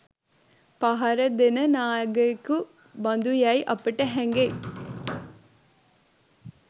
පහරදෙන නාගයකු බඳුයැයි අපට හැඟෙයි.